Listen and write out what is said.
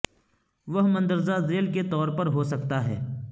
وہ مندرجہ ذیل کے طور پر ہو سکتا ہے